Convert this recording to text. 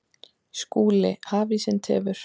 SKÚLI: Hafísinn tefur.